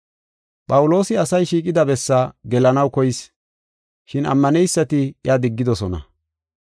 Phawuloosi asay shiiqida bessa gelanaw koyis, shin ammaneysati iya diggidosona.